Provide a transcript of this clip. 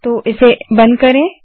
तो इसे बंद करें